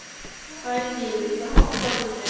Sæný, viltu hoppa með mér?